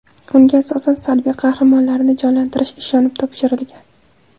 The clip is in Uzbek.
Unga asosan salbiy qahramonlarni jonlantirish ishonib topshirilgan.